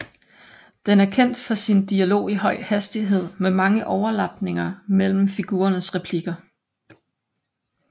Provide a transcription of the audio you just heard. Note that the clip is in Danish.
Den er kendt for sin dialog i høj hastighed med mange overlapninger mellem figurernes replikker